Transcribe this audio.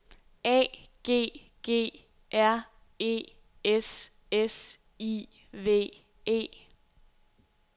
A G G R E S S I V E